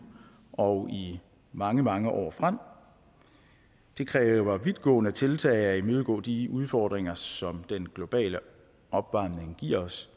og i mange mange år frem det kræver vidtgående tiltag at imødegå de udfordringer som den globale opvarmning giver os